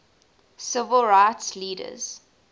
civil rights leaders